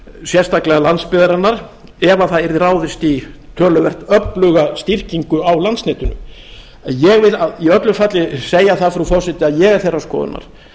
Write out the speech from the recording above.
sérstaklega landsbyggðarinnar ef það yrði ráðist í töluvert öfluga styrkingu á landsnetinu en ég vil í öllu falli segja það frú forseti að ég er þeirrar skoðunar